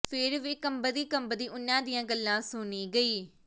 ਫਿਰ ਵੀ ਕੰਬਦੀ ਕੰਬਦੀ ਉਨ੍ਹਾਂ ਦੀਆਂ ਗੱਲਾਂ ਸੁਣੀ ਗਈ